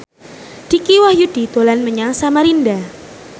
Dicky Wahyudi dolan menyang Samarinda